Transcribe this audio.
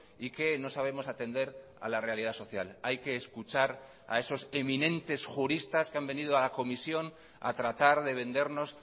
y que no sabemos atender a la realidad social hay que escuchar a esos eminentes juristas que han venido a la comisión a tratar de vendernos